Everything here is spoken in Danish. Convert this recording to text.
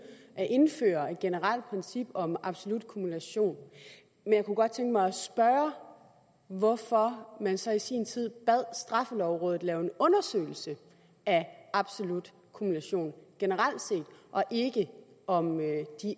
at indføre et generelt princip om absolut kumulation men jeg kunne godt tænke mig at spørge hvorfor man så i sin tid bad straffelovrådet lave en undersøgelse af absolut kumulation generelt set og ikke om de